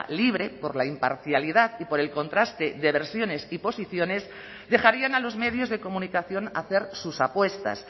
libre por la imparcialidad y por el contraste de versiones y posiciones dejarían a los medios de comunicación hacer sus apuestas